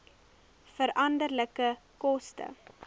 veranderlike koste